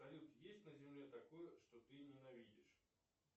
салют есть на земле такое что ты ненавидишь